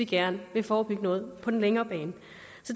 gerne vil forebygge noget på den længere bane